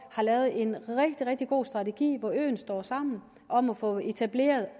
har lavet en rigtig rigtig god strategi hvor øen står sammen om at få etableret